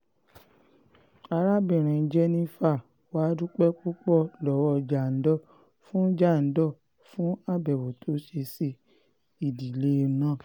arábìnrin jennifer wàá dúpẹ́ púpọ̀ lọ́wọ́ jandor fún jandor fún àbẹ̀wò tó ṣe sí ìdílé náà